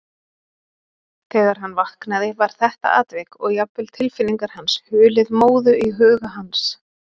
Þegar hann vaknaði var þetta atvik, og jafnvel tilfinningar hans, hulið móðu í huga hans.